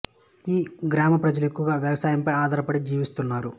ఈ గ్రామ ప్రజలు ఎక్కువగా వ్యవసాయం పై ఆధారపడి జీవిస్తున్నారు